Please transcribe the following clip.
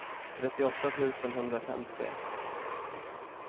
trettioåtta tusen etthundrafemtio